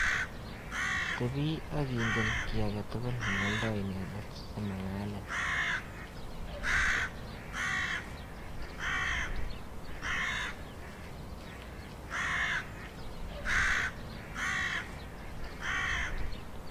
Tebii ak ingen kiy age tugul neoldo inendet simang'alin.